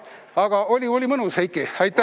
Aga oli mõnus!